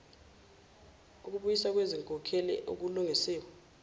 ukubuyiswa kwezinkokhelo okulungisiwe